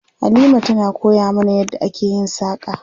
Halima tana koya mana yadda ake yin saƙa.